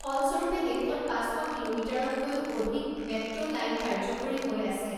ফলস্বৰূপে দেশত পাঁচ শ কিলোমিটাৰতকৈও অধিক মেট্ৰ লাইন কাৰ্যকৰী হৈ আছে